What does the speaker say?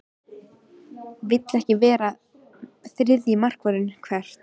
Vill ekki vera þriðji markvörður Hvert?